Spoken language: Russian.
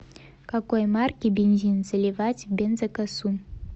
какой марки бензин заливать в бензокосу